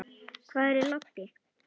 Hvar er Laddi?